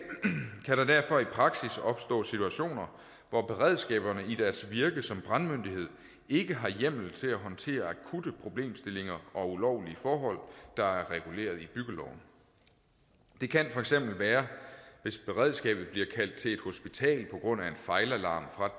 kan der derfor i praksis opstå situationer hvor beredskaberne i deres virke som brandmyndighed ikke har hjemmel til at håndtere akutte problemstillinger og ulovlige forhold der er reguleret i byggeloven det kan for eksempel være hvis beredskabet bliver kaldt til et hospital på grund af en fejlalarm fra